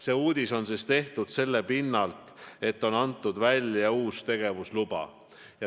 See uudis on tehtud selle pinnalt, et on antud välja uus tegevusluba.